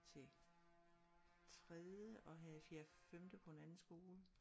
til tredje og have fjerde femte på en anden skole